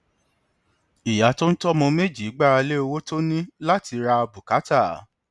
ìyá tó ń tọ ọmọ méjì gbára lé owó tó ní láti ra bùkátà